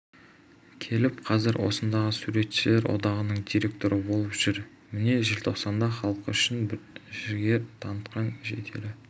келіп қазір осындағы суретшілер одағының директоры болып жүр міне желтоқсанда халқы үшін жігер танытқан жетелі